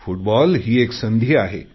football एक संधी आहे